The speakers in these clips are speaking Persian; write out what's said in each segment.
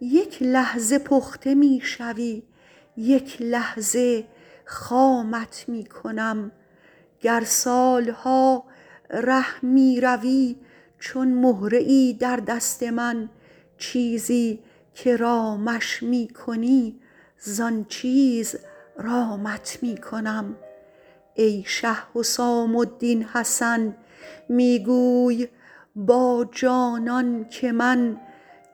یک لحظه پخته می شوی یک لحظه خامت می کنم گر سال ها ره می روی چون مهره ای در دست من چیزی که رامش می کنی زان چیز رامت می کنم ای شه حسام الدین حسن می گوی با جانان که من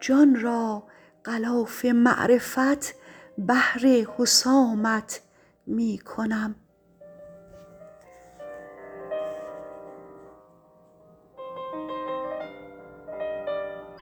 جان را غلاف معرفت بهر حسامت می کنم